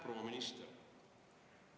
Proua minister!